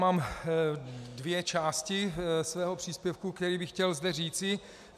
Mám dvě části svého příspěvku, který bych chtěl zde říci.